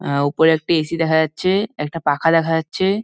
আ- উপরে একটি এ.সি. দেখা যাচ্ছে একটা পাখা দেখা যাচ্ছে--